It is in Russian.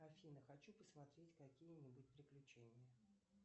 афина хочу посмотреть какие нибудь приключения